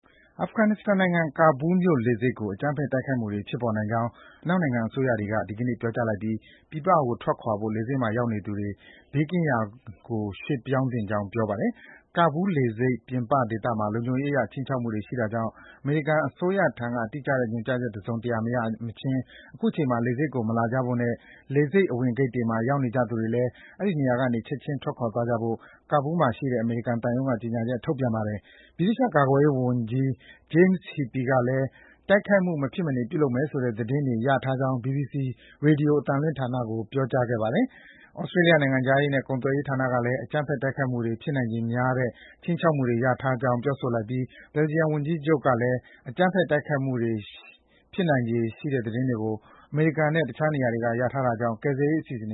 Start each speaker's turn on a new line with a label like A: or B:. A: အာဖဂန်နစ္စတန်နိုင်ငံ၊ ကာဘူးလ်မြို့လေဆိပ်ကို အကြမ်းဖက်တိုက်ခိုက်မှုတွေ ဖြစ်ပေါ်နိုင်ကြောင်း အနောက်နိုင်ငံ အစိုးရတွေက ဒီကနေ့ ပြောကြားလိုက်ပြီး ပြည်ပကိုထွက်ခွာဖို့ လေဆိပ်မှာရောက်နေသူတွေကို ဘေးကင်းရာနေရာကို ရွေ့ပြောင်းသင့်ကြောင်း ပြောပါတယ်။ “ကာဘူးလ်လေဆိပ် ပြင်ပဒေသတွေမှာ လုံခြုံရေးအရ ခြိမ်းခြောက်မှုတွေ ရှိနေတာကြောင့် အမေရိကန်အစိုးရထံက တိကျတဲ့ညွန်ကြားချက် တစုံတရာမရမချင်း အခုချိန်မှာ လေဆိပ်ကိုမလာကြဖို့နဲ့ လေဆိပ်အဝင်ဂိတ်တွေမှာ ရောက်နေကြသူတွေလည်း အဲဒီနေရာကနေ ချက်ခြင်း ထွက်ခွာသွားကြဖို့” ကာဘူးလ်မြို့မှာရှိတဲ့ အမေရိကန်သံရုံးက ကြေညာချက်ထုတ်ပြန်ပါတယ်။ ဗြိတိသျှ ကာကွယ်ရေးဝန်ကြီး James Heappey ကလည်း “တိုက်ခိုက်မှု မဖြစ်မနေ ပြုလုပ်မယ်ဆိုတဲ့ သတင်းရထားကြောင်း” ဘီဘီစီ ရေဒီယိုအသံလွှင့်ဌာနကို ပြောကြားထားပါတယ်။ သြစတေးလျ နိုင်ငံခြားရေးနဲ့ ကုန်သွယ်ရေးဌာနတွေကလည်း “အကြမ်းဖက်တိုက်ခိုက်မှု ဖြစ်နိုင်ခြေများတဲ့ ခြိမ်းချောက်မှုတွေ ရရှိထားကြောင်း” ပြောဆိုလိုက်သလို Belgium ဝန်ကြီးချုပ် Alexander De Croo ကလည်း အကြမ်းဖက် တိုက်ခိုက်နိုင်ခြေရှိတယ်ဆိုတဲ့ သတင်းတွေကို အမေရိ
B: ကန်နဲ့ တခြားနေရာတွေကနေ ရထားတာကြောင့် သူ့အစိုးရရဲ့ ကယ်ဆယ်ရေးအစီအစဉ်တွ